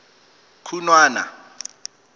khunwana